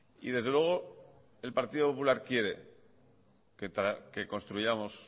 y desde luego el partido popular quiere que construyamos